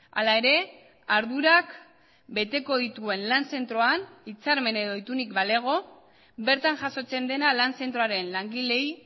hala ere ardurak beteko dituen lan zentroan hitzarmen edo itunik balego bertan jasotzen dena lan zentroaren langileei